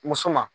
Muso ma